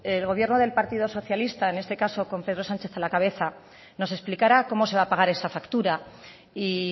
del gobierno del partido socialista en este caso con pedro sánchez a la cabeza nos explicara cómo se va a pagar esa factura y